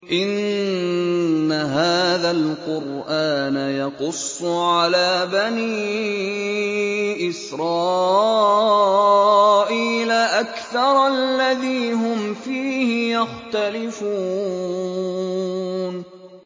إِنَّ هَٰذَا الْقُرْآنَ يَقُصُّ عَلَىٰ بَنِي إِسْرَائِيلَ أَكْثَرَ الَّذِي هُمْ فِيهِ يَخْتَلِفُونَ